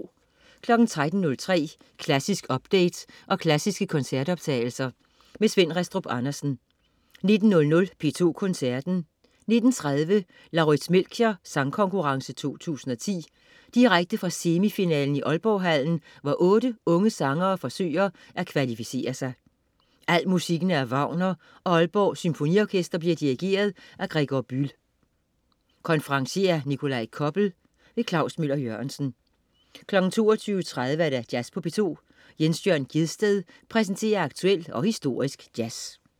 13.03 Klassisk update og klassiske koncertoptagelser. Svend Rastrup Andersen 19.00 P2 Koncerten. 19.30 Lauritz Melchior Sangkonkurrence 2010. Direkte fra semifinalen i Aalborghallen, hvor otte unge sangere forsøger at kvalificere sig. Al musikken er af Wagner og Aalborg Symfoniorkester bliver dirigeret af Gregor Bühl. Konferencier: Nikolaj Koppel. Klaus Møller-Jørgensen 22.30 Jazz på P2. Jens Jørn Gjedsted præsenterer aktuel og historisk jazz